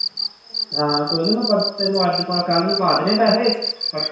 ਹਾਂ ਕੋਈ ਨੀ ਮੈਂ ਪਰਸੋਂ ਤੈਨੂੰ ਅੱਜ ਪਾ, ਕੱਲ੍ਹ ਨੂੰ ਪਾ ਦੇਣੇ ਪੈਸੇ